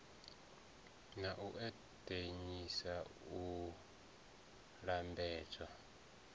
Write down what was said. na u eḓanyisa u lambedzwa